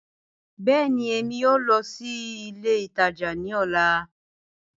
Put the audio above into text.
Bẹẹni, Emi yoo lọ si ile itaja ni ọla.